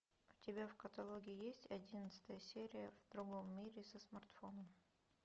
у тебя в каталоге есть одиннадцатая серия в другом мире со смартфоном